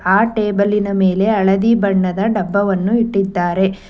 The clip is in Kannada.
ಆ ಟೇಬಲಿನ ಮೇಲೆ ಹಳದಿ ಬಣ್ಣದ ಡಬ್ಬವನ್ನು ಇಟ್ಟಿದ್ದಾರೆ.